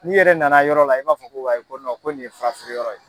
N'i yɛrɛ nana yɔrɔ la i b'a fɔ ko wayi ko ko nin ye furafeere yɔrɔ ye.